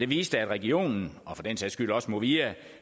viste at regionen og for den sags skyld også movia